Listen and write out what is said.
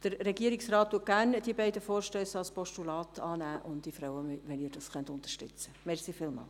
Der Regierungsrat nimmt die beiden Vorstösse gerne als Postulat an, und ich freue mich, wenn Sie dies unterstützen können.